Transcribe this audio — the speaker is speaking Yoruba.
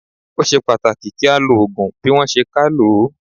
Ó ṣe pàtàkì kí á lo Ògùn bí wón ṣe ká lòó.